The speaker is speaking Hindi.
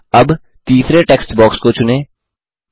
अब तीसरे टेक्स्ट बॉक्स को चुनें